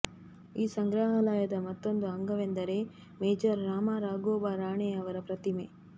ಈ ಸಂಗ್ರಹಾಲಯದ ಮತ್ತೊಂದು ಅಂಗವೆಂದರೆ ಮೇಜರ್ ರಾಮಾ ರಾಘೋಬಾ ರಾಣೆಯವರ ಪ್ರತಿಮೆ